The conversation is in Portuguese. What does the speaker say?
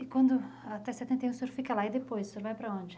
E quando, até setenta e um, o senhor fica lá e depois, o senhor vai para onde?